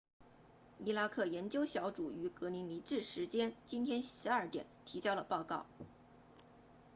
伊拉克研究小组于格林尼治时间 gmt 今天12点提交了报告